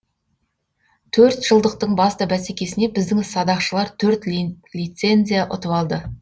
төрт жылдықтың басты бәсекесіне біздің садақшылар төрт лицензия ұтып алды